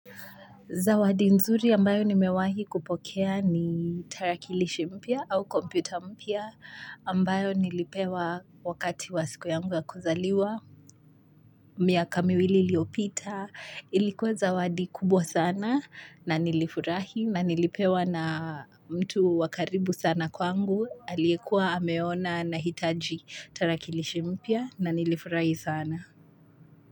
Zawadi nzuri ambayo nimewahi kupokea ni tarakilishi mpya au kompyuta mpya ambayo nilipewa wakati wa siku yangu ya kuzaliwa, miaka miwili iliyopita. Ilikuwa zawadi kubwa sana na nilifurahi na nilipewa na mtu wakaribu sana kwangu aliyekuwa ameona nahitaji tarakilishi mpya na nilifurahi sana.